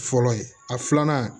Fɔlɔ ye a filanan